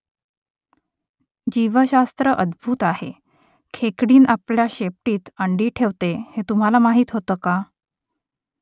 जीवशास्त्र अद्भुत आहे . खेकडीण आपल्या शेपटीत अंडी ठेवते हे तुम्हाला माहीत होतं का ?